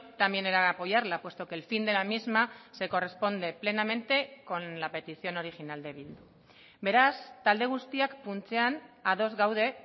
también era de apoyarla puesto que el fin de la misma se corresponde plenamente con la petición original de bildu beraz talde guztiak funtsean ados gaude